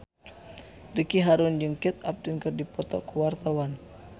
Ricky Harun jeung Kate Upton keur dipoto ku wartawan